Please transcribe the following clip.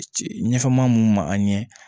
Ɲɛfɛ maa mun ma an ɲɛ